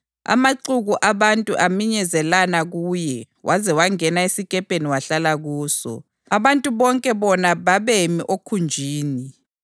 Amaxuku abantu aminyezelana kuye waze wangena esikepeni wahlala kuso, abantu bonke bona babemi okhunjini.